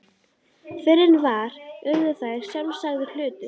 Fyrr en varði urðu þær sjálfsagður hlutur.